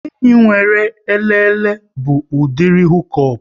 Enyi nwere elele bụ udiri hukop